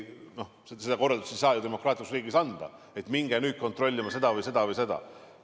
Noh, seda korraldust ei saa demokraatlikus riigis anda, et minge nüüd kontrollima seda, seda või seda.